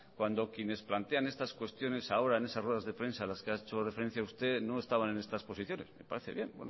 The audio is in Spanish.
cuando quienes plantean estas cuestiones ahora en esas ruedas de prensa a las que ha hecho referencia usted no estaban en estas posiciones me parece bien